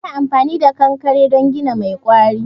Ana amfani da kankare don gini mai ƙwari.